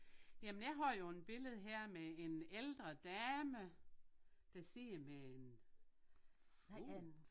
Jamen jeg har jo en billede her med en ældre dame der sidder med en fugl